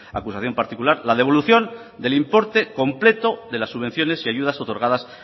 acusación particular la devolución del importe completo de las subvenciones y ayudas otorgadas